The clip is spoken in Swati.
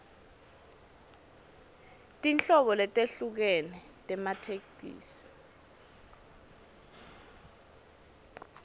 tinhlobo letehlukene tematheksthi